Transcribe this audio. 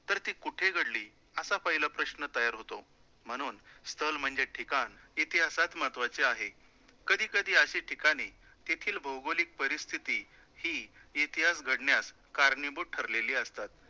तर ती कुठे घडली, असा पहिला प्रश्न तयार होतो, म्हणून स्थळ म्हणजे ठिकाण इतिहासात महत्वाचे आहे, कधी कधी अशी ठिकाणे तेथील भौगोलिक परिस्थिती ही इतिहास घडण्यास कारणीभूत ठरलेली असतात.